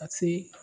Ka se